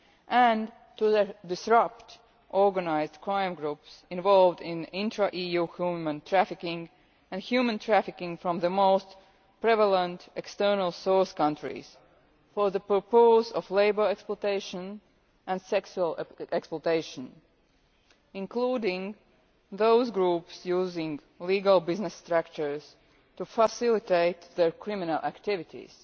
and to disrupt organised crime groups involved in intra EU human trafficking and human trafficking from the most prevalent external source countries for the purpose of labour exploitation and sexual exploitation, including those groups using legal business structures to facilitate their criminal activities.